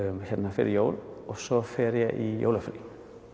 hérna fyrir jól og svo fer ég í jólafrí